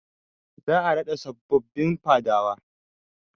Za a raɗa sabobbin Fadawa.